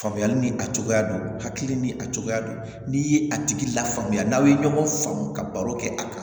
Faamuyali ni a cogoya don hakili ni a cogoya don n'i ye a tigi lafaamuya n'aw ye ɲɔgɔn faamu ka baro kɛ a kan